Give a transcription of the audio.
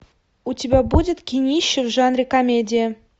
у тебя будет кинище в жанре комедия